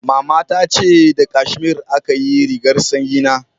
Mama ta ce da kashmiri aka yi rigar sanyi na